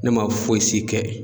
Ne ma fosi kɛ.